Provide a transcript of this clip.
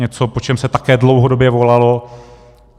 Něco, po čem se také dlouhodobě volalo.